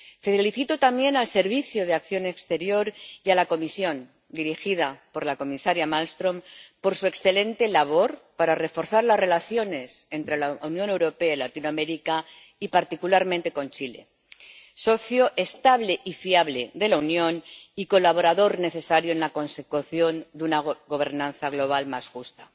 Felicito también al Servicio Europeo de Acción Exterior y a la Comisión, dirigida por la comisaria Malmström, por su excelente labor para reforzar las relaciones entre la Unión Europea y Latinoamérica y, particularmente, con Chile, socio estable y fiable de la Unión y colaborador necesario en la consecución de una gobernanza global más justa.